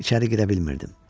İçəri girə bilmirdim.